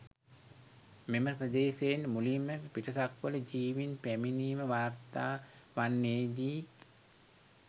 මෙම ප්‍රදේශයෙන් මුලින්ම පිටසක්වළ ජීවීන් පැමිණීම වාර්තා වන්නේ දී.